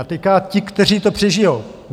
A teď ti, kteří to přežijou.